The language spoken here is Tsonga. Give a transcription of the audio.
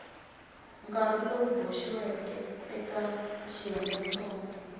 nkarhi lowu boxiweke eka xiyengentsongo